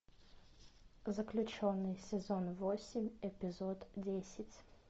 заключенный сезон восемь эпизод десять